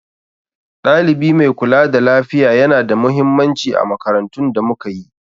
Ɗalibi mai kula da lafiya yana da mahimmanci a makarantun da muka yi.